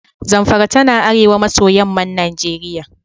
Zamfara tana arewa maso yamman Najeriya.